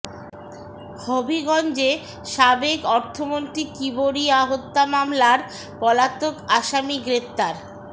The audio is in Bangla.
হবিগঞ্জে সাবেক অর্থমন্ত্রী কিবরিয়া হত্যা মামলার পলাতক আসামি গ্রেফতার